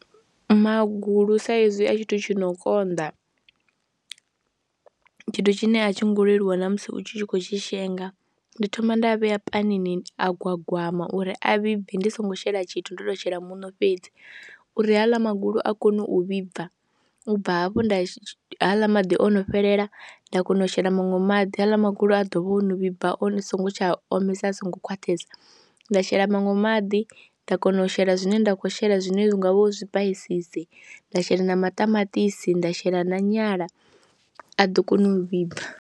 Magulu sa ezwi a tshithu tshi no konḓa, tshithu tshine a tshi ngo leluwa na musi u tshi khou tshi shenga, ndi thoma nda a vhea panini a gwagwama uri a vhibve ndi songo shela tshithu ndo tou shela muṋo fhedzi uri ha aḽa magulu a kone u vhibva, u bva hafho nda ha aḽa maḓi o no fhelela nda kona u shela maṅwe maḓi, ha aḽa magulu a ḓo vha o no vhibva a songo tsha omisa, a songo khwaṱhesa, nda shela maṅwe maḓi nda kona u shela zwine nda khou shela zwine hu nga vha u zwipaisisi, nda shela na maṱamaṱisi, nda shela na nyala, a ḓo koni u vhibva.